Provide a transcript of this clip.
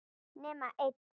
Nema einn.